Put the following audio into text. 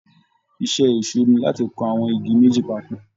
Iṣẹ́ ẹ̀ṣó ni láti kan àwọn igi méjì papọ̀